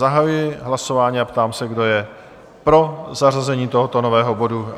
Zahajuji hlasování a ptám se, kdo je pro zařazení tohoto nového bodu?